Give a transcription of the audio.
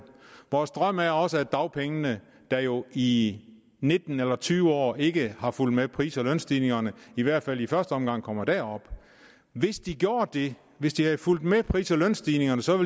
vores drøm er også at dagpengene der jo i nitten eller tyve år ikke har fulgt med pris og lønstigningerne i hvert fald i første omgang kommer derop hvis de gjorde det hvis de havde fulgt med pris og lønstigningerne så